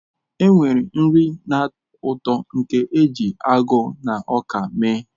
Enwere nri na-atọ ụtọ nke a na-eji agụ na ọka mee.